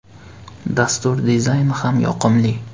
Dastur dizayni ham yoqimli.